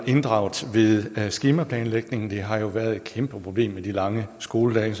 inddraget ved skemaplanlægning det har jo været et kæmpe problem med de lange skoledage